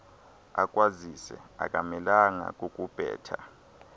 akwazise akamelanga kukubetha